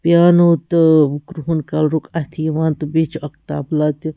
piano .تہٕ کرٛہُن کلرُک اَتھہِ یِوان تہٕ بیٚیہِ چُھ اکھ تبلاتہِ